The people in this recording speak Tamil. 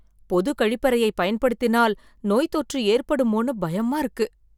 பொது கழிப்பறையை பயன்படுத்தினால் நோய் தொற்று ஏற்படுமோன்னு பயமா இருக்கு